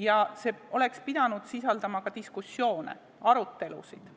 ja sellele oleks pidanud eelnema ka diskussioone, arutelusid.